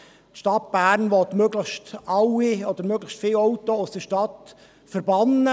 Die Stadt Bern will möglichst alle oder möglichst viele Autos aus der Stadt verbannen.